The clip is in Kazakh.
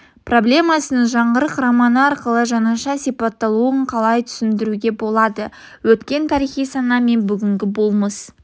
проблемасының жаңғырық романы арқылы жаңаша сипатталуын қалай түсіндіруге болады өткен тарихи сана мен бүгінгі болмыс